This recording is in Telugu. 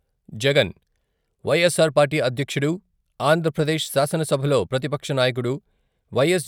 జగన్ వైఎస్సార్ పార్టీ అధ్యక్షుడు, ఆంధ్రప్రదేశ్ శాసనసభలో ప్రతిపక్ష నాయకుడు వైఎస్.